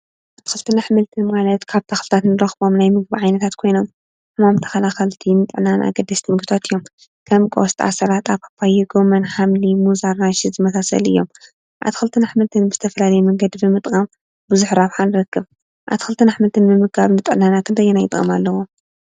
አትክልትን አሕምልትን ማለት ካብ ተኽሊታት ንረኽቦ ናይ ምግቢ ዓይነታት ኮይኖም ሕማም ተኸላኸልቲን ን ጥዕናና አገደስቲን ምግብታት እዬም። ከም ቆስጣ፣ ሰላጣ፣ ፓፓየ፣ ጎመን፣ ሓምሊ፣ ሙዝ፣ ኣራንሺ ዝአመሳሰሉ እዮም። አትክልትን አሕምልትን ብዝተፈላለዩ መንገዲ ብምጥቃም ብዙሕ ረብሓ ንረክብ። አትክልትን አሕምልትን በምምጋብ ብምጥቃም ንጥዕናና ክንደይ ጥቅሚ አለዎ።